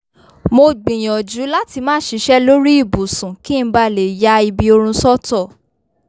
mo gbiyanju lati má ṣíṣe lórí ibùsùn kí n bá lè ya ibi orun sọ́tọ